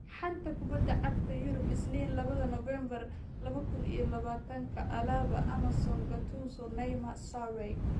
Xanta Kubadda Cagta Yurub Isniin labada Novembaar laba kuun iyo labatanka: Alaba, Emerson, Gattuso, Neymar, Sarri